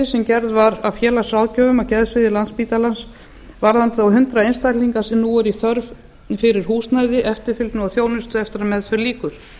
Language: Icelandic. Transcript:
sem gerð var af félagsráðgjöfum á geðsviði landspítalans varðandi hundrað einstaklinga sem nú eru í þörf fyrir húsnæði eftirfylgni og þjónustu eftir að meðferð lýkur